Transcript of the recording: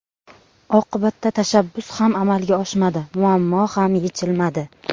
Oqibatda tashabbus ham amalga oshmadi, muammo ham yechilmadi.